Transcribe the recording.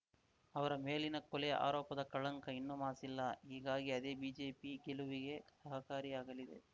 ಅವರ ಮೇಲಿನ ಕೊಲೆ ಆರೋಪದ ಕಳಂಕ ಇನ್ನೂ ಮಾಸಿಲ್ಲ ಹೀಗಾಗಿ ಅದೇ ಬಿಜೆಪಿ ಗೆಲುವಿಗೆ ಸಹಕಾರಿ ಆಗಲಿದೆ